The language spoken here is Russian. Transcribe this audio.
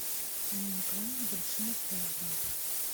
у меня к вам небольшая просьба